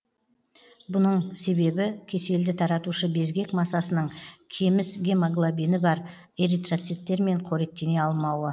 бұның себебі кеселді таратушы безгек масасының кеміс гемоглобині бар эритроциттермен қоректене алмауы